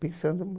Pensando